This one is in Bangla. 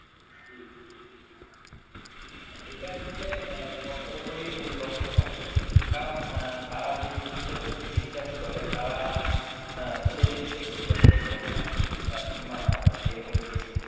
এটা আসলে অ্যাঁ সব ধর্মরি মূল লক্ষ্য থাকে, কারণ অ্যাঁ তারা যে জিনিসটার প্রতি বিশ্বাস করে, তারা অ্যাঁ সেই জিনিসটার প্রতি আসলে ধর্ম আনে, ইমান আনে, এরকম কিছু,